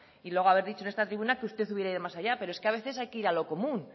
y luego haber dicho en esta tribuna que usted hubiera ido más allá pero es que a veces hay que ir a lo común